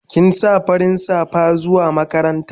Kin sa farin safa zuwa makaranta?